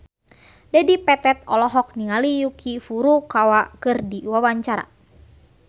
Dedi Petet olohok ningali Yuki Furukawa keur diwawancara